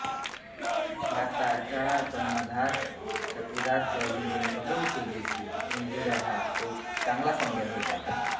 भारताचा कर्णधार विराट कोहलीने कबूल केले की न्यूझीलंड हा एक चांगला संघ होता